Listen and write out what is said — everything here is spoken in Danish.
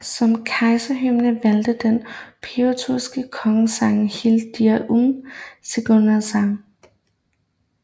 Som kejserhymne valgtes den preussiske kongesang Heil dir im Siegerkranz